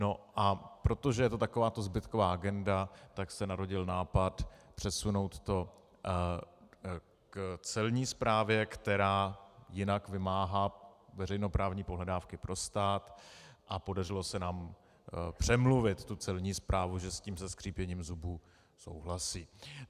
No a protože je to takováto zbytková agenda, tak se narodil nápad přesunout to k Celní správě, která jinak vymáhá veřejnoprávní pohledávky pro stát, a podařilo se nám přemluvit tu Celní správu, že s tím se skřípěním zubů souhlasí.